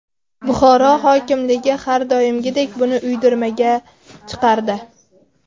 Buxoro hokimligi har doimgidek buni uydirmaga chiqardi .